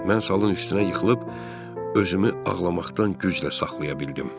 Mən salın üstünə yıxılıb özümü ağlamaqdan güclə saxlaya bildim.